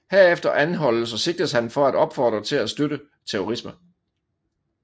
Herefter anholdes og sigtes han for at opfordre til at støtte terrorisme